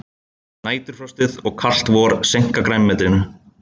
Næturfrostið og kalt vor seinka grænmetinu